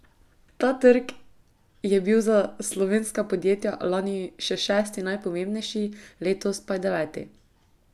Ta trg je bil za slovenska podjetja lani še šesti najpomembnejši, letos pa je deveti.